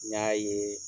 N y'a ye